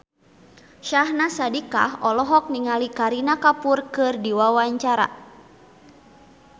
Syahnaz Sadiqah olohok ningali Kareena Kapoor keur diwawancara